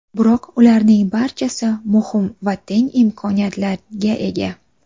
Biroq ularning barchasi muhim va teng imkoniyatlarga ega.